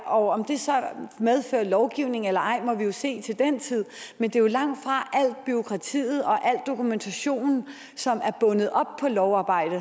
og om det så medfører lovgivning eller ej må vi jo se til den tid men det er langtfra alt bureaukratiet og al dokumentationen som er bundet op på lovarbejdet